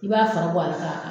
I b'a fara bɔ a ka.